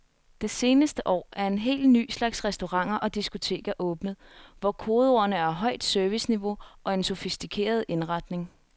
Det seneste år er en helt ny slags restauranter og diskoteker åbnet, hvor kodeordene er højt serviceniveau og en sofistikeret indretning.